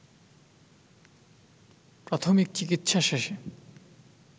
প্রাথমিক চিকিৎসা শেষে